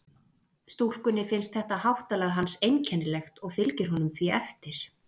Stúlkunni finnst þetta háttalag hans einkennilegt og fylgir honum því eftir.